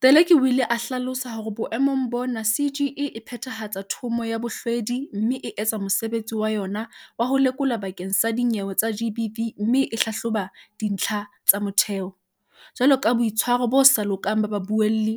Teleki o ile a hlalosa hore boemong bona CGE e phethahatsa Thomo ya Bohlwedi mme e etsa mo sebetsi wa yona wa ho lekola bakeng sa dinyewe tsa GBV mme e hlahloba dintlha tsa motheo, jwaloka boitshwaro bo sa lokang ba babuelli,